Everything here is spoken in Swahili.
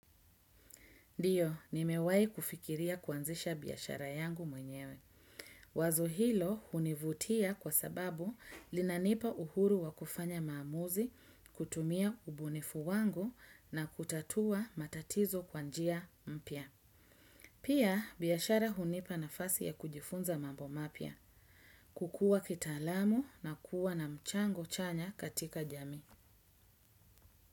Ndiyo, nimewai kufikiria kuanzisha biashara yangu mwenyewe. Wazo hilo, hunivutia kwa sababu linanipa uhuru wa kufanya maamuzi, kutumia ubunifu wangu na kutatua matatizo kwa njia mpya. Pia, biashara hunipa nafasi ya kujifunza mambo mapya, kukua kitaalamu na kuwa na mchango chanya katika jamii.